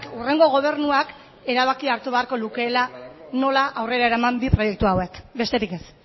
hurrengo gobernuak erabakia hartu beharko lukeela nola aurrera eraman proiektu hauek besterik ez